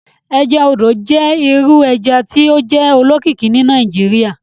Ẹja odò jẹ iru ẹja ti o jẹ olókìkí ni Nigeria.